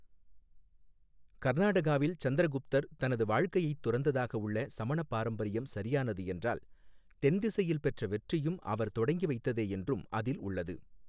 கர்நாடகாவில் சந்திரகுப்தர் தனது வாழ்க்கையைத் துறந்ததாக உள்ள சமண பாரம்பரியம் சரியானது என்றால் தென்திசையில் பெற்ற வெற்றியும் அவர் தொடங்கி வைத்ததே என்றும் அதில் உள்ளது.